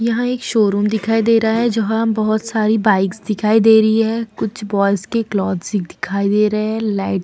यहाँ एक शोरुम दिखाई दे रहा है जहाँ बहुत सारी बाइक्स दिखाई दे रही है कुछ बॉयज के दिखाई दे रहे है लाइट्स --